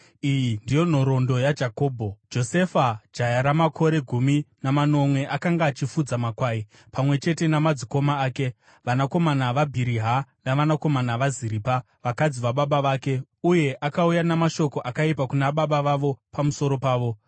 Iyi ndiyo nhoroondo yaJakobho. Josefa jaya ramakore gumi namanomwe, akanga achifudza makwai pamwe chete namadzikoma ake, vanakomana vaBhiriha navanakomana vaZiripa, vakadzi vababa vake, uye akauya namashoko akaipa kuna baba vavo pamusoro pavo.